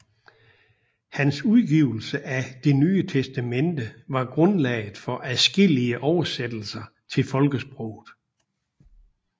Hans udgivelse af Det Nye Testamente var grundlaget for adskillige oversættelser til folkesproget